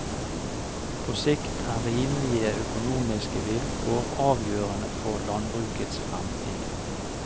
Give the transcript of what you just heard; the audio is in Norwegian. På sikt er rimelige økonomiske vilkår avgjørende for landbrukets fremtid.